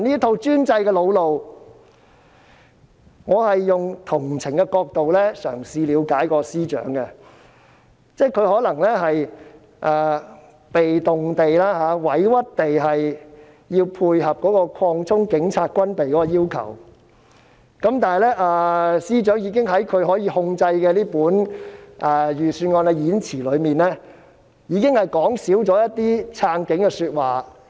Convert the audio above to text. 我嘗試以同情的角度了解司長，可能他也是被動、委屈地要配合擴充警察軍備的要求，但司長已經在他可以控制的預算案演辭內，少說撐警的說話。